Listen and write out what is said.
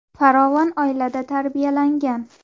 Farovon oilada tarbiyalangan.